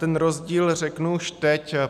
Ten rozdíl řeknu už teď.